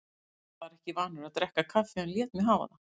Var ekki vanur að drekka kaffi en lét mig hafa það.